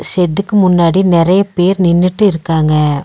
ஷெட்க்கு முன்னாடி நெறைய பேர் நின்னுட்டு இருக்காங்க.